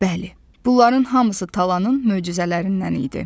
Bəli, bunların hamısı talanın möcüzələrindən idi.